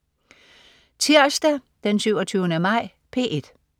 Tirsdag den 27. maj - P1: